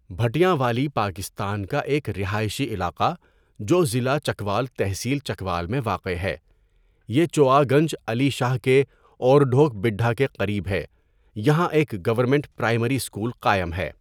بھٹیاں والی پاکستان کا ایک رہائشی علاقہ جو ضلع چکوال تحصیل چکوال میں واقع ہے یہ چوآ گنج علی شاہ کے اور ڈھوک بٖڈھا کے قریب ہے یہاں ایک گورنمنٹ پرائمری اسکول قائم ہے.